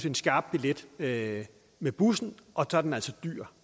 en skarp billet med med bussen og så er den altså dyr